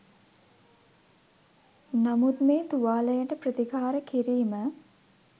නමුත් මේ තුවාලයට ප්‍රතිකාර කිරීම